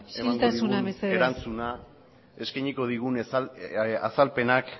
emango digun erantzuna isiltasuna mesedez eskainiko digun azalpenak